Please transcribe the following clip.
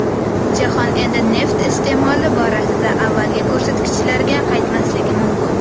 Jahon endi neft iste’moli borasida avvalgi ko‘rsatkichlarga qaytmasligi mumkin.